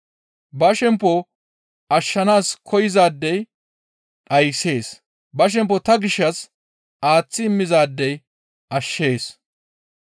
Ba shempo ashshanaas koyzaadey dhayssees; ba shempo ta gishshas aaththi immizaadey ashshees.